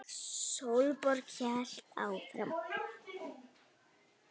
Sólborg hélt áfram.